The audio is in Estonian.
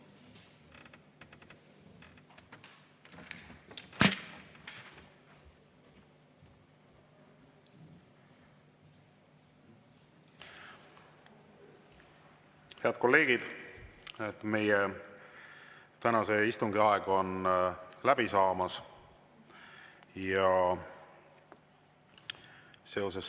Head kolleegid, meie tänase istungi aeg on läbi saamas.